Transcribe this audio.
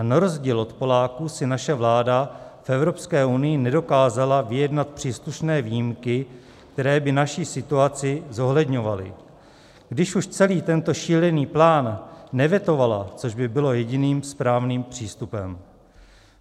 A na rozdíl od Poláků si naše vláda v EU nedokázala vyjednat příslušné výjimky, které by naší situaci zohledňovaly, když už celý tento šílený plán nevetovala, což by bylo jediným správným přístupem.